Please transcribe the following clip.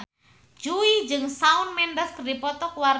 Jui jeung Shawn Mendes keur dipoto ku wartawan